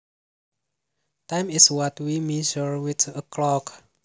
Time is what we measure with a clock